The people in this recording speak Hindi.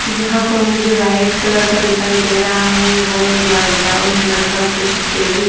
यहाँ पर मुझे वाइट कलर का दिखाई दे रहा है और ब्रा ब्राउन कलर का कुछ टेबल --